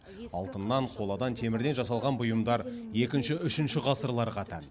алтыннан қоладан темірден жасалған бұйымдар екінші үшінші ғасырларға тән